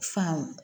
Fan